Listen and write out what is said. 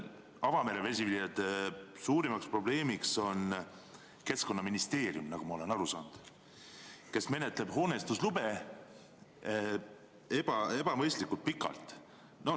Avamere vesiviljelejate suurimaks probleemiks on, nagu ma olen aru saanud, Keskkonnaministeerium, kes menetleb hoonestuslube ebaebamõistlikult pikalt.